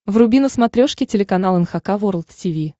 вруби на смотрешке телеканал эн эйч кей волд ти ви